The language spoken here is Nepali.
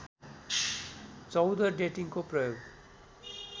१४ डेटिङको प्रयोग